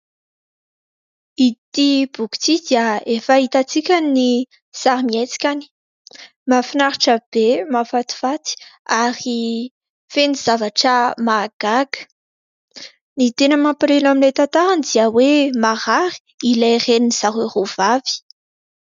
Ity boky ity dia efa hitantsika ny sarimihetsikany. Mahafinaritra be, mahafatifaty ary feno zavatra mahagaga. Ny tena mampalahelo amin'ilay tantarany dia hoe marary ny reniny zareo roa vavy.